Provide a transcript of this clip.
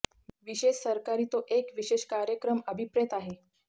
विशेष सरकारी तो एक विशेष कार्यक्रम अभिप्रेत आहे